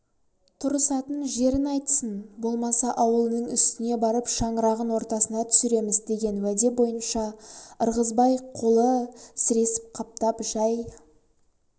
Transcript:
тұрысатын жерін айтсын болмаса ауылының үстіне барып шаңырағын ортасына түсіреміз деген уәде бойынша ырғызбай қолы сіресіп қаптап жай